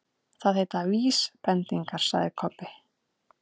Það heita VÍSbendingar, sagði Kobbi.